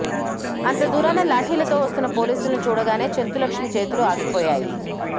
అంత దూరాన లాఠీలతో వస్తున్న పోలీసుల్ని చూడగానే చెంచులక్ష్మి చేతులు ఆగిపోయాయి